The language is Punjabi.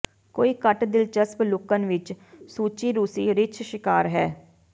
ਕੋਈ ਘੱਟ ਦਿਲਚਸਪ ਲੁਕਣ ਵਿਚ ਸੱਚੀ ਰੂਸੀ ਰਿੱਛ ਸ਼ਿਕਾਰ ਹੈ